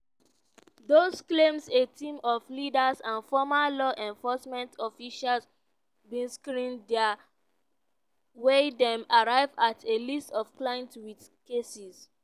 dose claims a team of lawyers and former law enforcement officials bin screen dem wia dem arrive at a list of clients wit cases